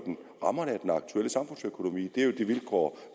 rammerne af den aktuelle samfundsøkonomi det er jo de vilkår